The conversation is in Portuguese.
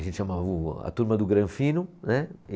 A gente chamava o, a turma do Granfino, né?